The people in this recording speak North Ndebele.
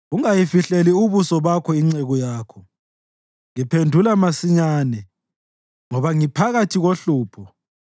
Ungayifihleli ubuso bakho inceku yakho; ngiphendula masinyane, ngoba ngiphakathi kohlupho.